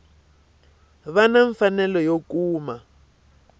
va na mfanelo yo kuma